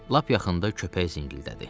Lap yaxında köpək zingildədi.